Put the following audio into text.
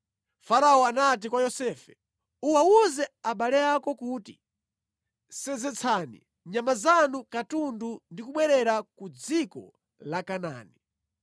Farao anati kwa Yosefe, “Uwawuze abale ako kuti, ‘Senzetsani nyama zanu katundu ndi kubwerera ku dziko la Kanaani.